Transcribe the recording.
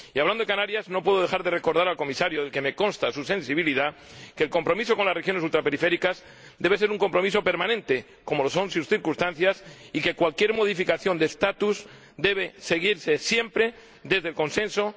Y hablando de Canarias, no puedo dejar de recordar al Comisario, del que me consta su sensibilidad, que el compromiso con las regiones ultraperiféricas debe ser un compromiso permanente, como lo son sus circunstancias, y que cualquier modificación de su estatus debe decidirse siempre desde el consenso y la mesura.